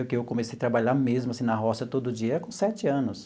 Eu o que comecei a trabalhar mesmo assim na roça todo dia com sete anos.